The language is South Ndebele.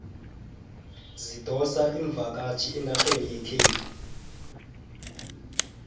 zidosa imvakatjhi enarheni yekhethu